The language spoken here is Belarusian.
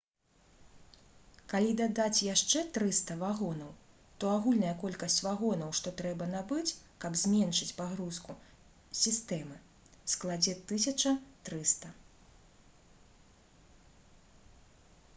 калі дадаць яшчэ 300 вагонаў то агульная колькасць вагонаў што трэба набыць каб зменшыць перагрузку сістэмы складзе 1300